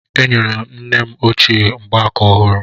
Enyere m nne m ochie mgbaaka ọhụrụ